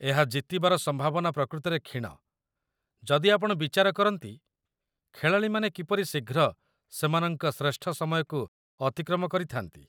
ଏହା ଜିତିବାର ସମ୍ଭାବନା ପ୍ରକୃତରେ କ୍ଷୀଣ ଯଦି ଆପଣ ବିଚାର କରନ୍ତି ଖେଳାଳିମାନେ କିପରି ଶୀଘ୍ର ସେମାନଙ୍କ ଶ୍ରେଷ୍ଠ ସମୟକୁ ଅତିକ୍ରମ କରିଥା'ନ୍ତି।